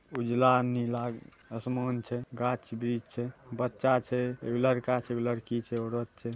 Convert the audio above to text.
उजला नीला असमान छै गाछ वृक्ष छै बच्चा छैएगो लड़का छै एगो लड़की छै औरत छै।